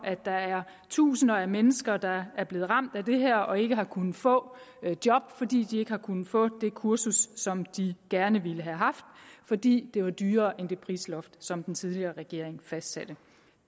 at der er tusinder af mennesker der er blevet ramt af det her og som ikke har kunnet få et job fordi de ikke har kunne få det kursus som de gerne ville have haft fordi det var dyrere end det prisloft som den tidligere regering fastsatte